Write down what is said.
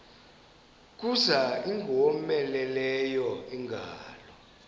kuza ingowomeleleyo ingalo